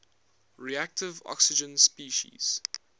reactive oxygen species